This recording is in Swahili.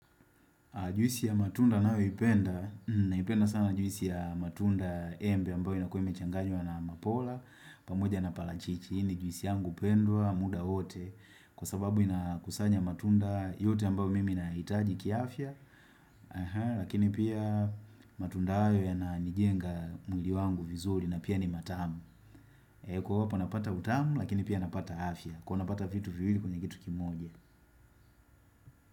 Juisi ya matunda ninayoipenda, naipenda sana juisi ya matunda embe ambayo inakuwa imechanganywa na mapola, pamoja na parachichi, hii ni juisi yangu pendwa, muda wowote, kwa sababu inakusanya matunda yote ambayo mimi nahitaji kiafya, lakini pia matunda hayo yananijenga mwili wangu vizuri na pia ni matamu. Kuwa hapa napata utamu, lakini pia napata afya, kuwa napata vitu vili kwenye kitu kimoja.